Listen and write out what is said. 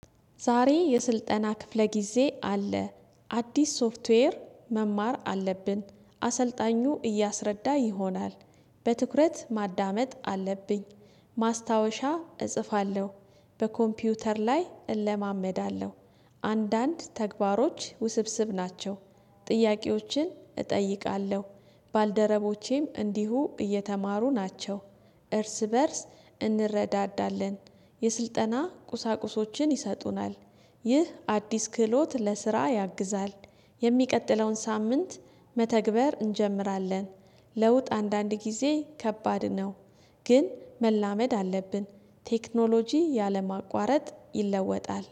ዛሬ የስልጠና ክፍለ ጊዜ አለ። አዲስ ሶፍትዌር መማር አለብን። አሰልጣኙ እያስረዳ ይሆናል። በትኩረት ማዳመጥ አለብኝ። ማስታወሻ እጽፋለሁ። በኮምፒውተር ላይ እለማመዳለሁ። አንዳንድ ተግባሮች ውስብስብ ናቸው። ጥያቄዎችን እጠይቃለሁ። ባልደረቦቼም እንዲሁ እየተማሩ ናቸው። እርስ በእርስ እንረዳዳለን። የስልጠና ቁሳቁሶችን ይሰጡናል። ይህ አዲስ ክህሎት ለስራ ያግዛል። የሚቀጥለውን ሳምንት መተግበር እንጀምራለን፤። ለውጥ አንዳንድ ጊዜ ከባድ ነው። ግን መላመድ አለብን። ቴክኖሎጂ ያለ ማቋረጥ ይለወጣል፤